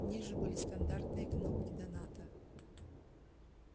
ниже были стандартные кнопки доната